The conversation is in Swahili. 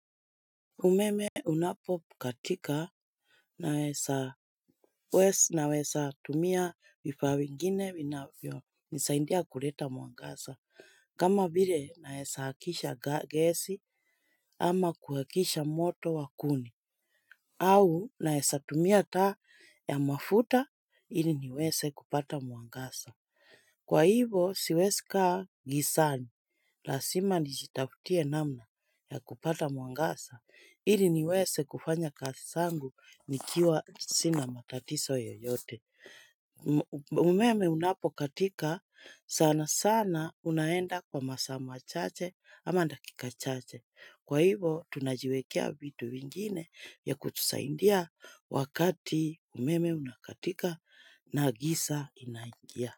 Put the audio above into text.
Umeme unapo katika naezatumia vifaa vingine vinavyo nisaidia kuleta mwangaza. Kama vile naesatumia taa ya mafuta ili niweze kupata mwangaza. Kwa hivo siwezi kaa gizani. Lazima nijitafutie namna ya kupata mwangaza, ili niweze kufanya kazi zangu nikiwa sina matatizo yoyote. Umeme unapo katika, sana sana unaenda kwa masaa machache ama dakika chache. Kwa hivo tunajiwekea vitu ingine ya kutusaidia wakati umeme unakatika na giza inaingia.